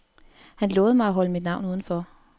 Han lovede mig at holde mit navn udenfor.